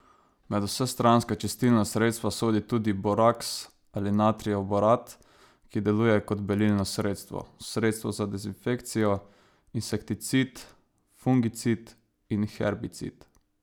Med vsestranska čistilna sredstva sodi tudi boraks ali natrijev borat, ki deluje kot belilno sredstvo, sredstvo za dezinfekcijo, insekticid, fungicid in herbicid.